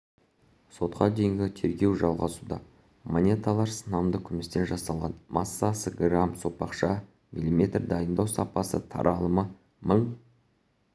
сотқа дейінгі тергеу жалғасуда монеталар сынамды күмістен жасалған массасы грамм сопақша мм дайындау сапасы таралымы мың